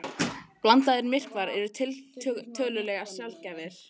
Blandaðir myrkvar eru tiltölulega sjaldgæfir.